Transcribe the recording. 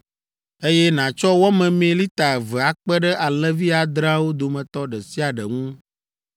eye nàtsɔ wɔ memee lita eve akpe ɖe alẽvi adreawo dometɔ ɖe sia ɖe ŋu.